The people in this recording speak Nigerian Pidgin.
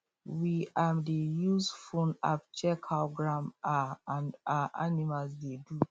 we um dey use phone app check how ground um and um animals dey do